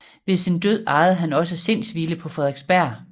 Ved sin død ejede han også Sindshvile på Frederiksberg